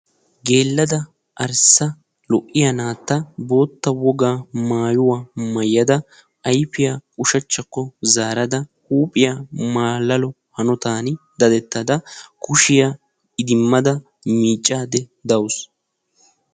Geeladan arssa woga lo'iya naata bootta wogaa maayuwa maayda ayfiya ushshachchakko zaarada huuphiya malaalo hanottan daddetada kushiya idimmada miiccaydda dawusu.